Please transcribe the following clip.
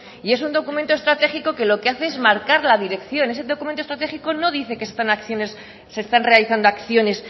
y es un documento estratégico que lo hace es marcar la dirección ese documento estratégico no dice que se están realizando acciones